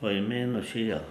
po imenu Šija.